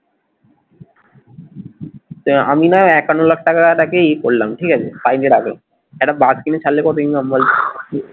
সে আমি নয় একান্ন লাখ টাকা ই করলাম ঠিক আছে side এ রাখলাম একটা বাস কিনে ছাড়লে কত income বলতো?